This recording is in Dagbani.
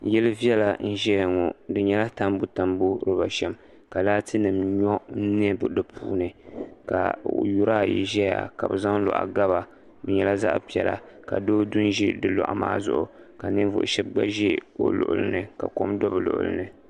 Yili viɛla n ʒɛya ŋo di nyɛla tambu tambu bushɛm ka laati nim nyo n bɛ di puuni ka yuri ayi ʒɛya ka bi zaŋ loɣu gaba bi nyɛla zaɣ piɛla ka doo du n ʒi do loɣu maa zuɣu ka ninvuɣu shab du n ʒi o luɣuli nika kom do bi luɣuli ni